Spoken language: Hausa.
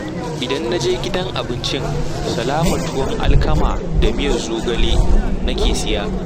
Idan na je gidan abincin Salama tuwon alkama da miyar zogale na ke siya